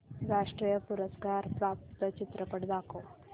राष्ट्रीय पुरस्कार प्राप्त चित्रपट दाखव